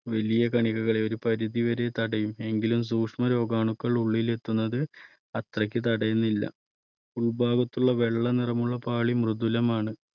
വലിയ കണികകളെ ഒരു പരിധിവരെ തടയും എങ്കിലും സൂക്ഷ്മ രോഗാണുക്കൾ ഉള്ളിൽ എത്തുന്നത് അത്രയ്ക്ക് തടയുന്നില്ല. ഉൾഭാഗത്തുള്ള വെള്ള നിറമുള്ള പാളി മൃദുലമാണ്.